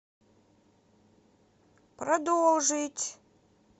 продолжить